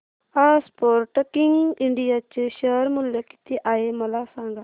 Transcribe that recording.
आज Sportking India चे share मूल्य किती आहे मला सांगा